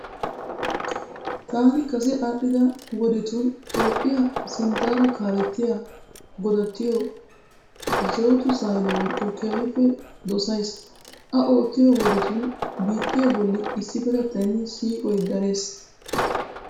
Taani kase aadhdhida wodetun Toophphiya sinttara kaalettiya godattiyo zawude sehalaworiqqo keehippe dosayiis. A oottiyo wodetun biittee bolli issipetettayinne siiqoyi darees.